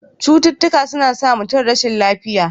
Cututtuka suna sa mutum rashin lafiya.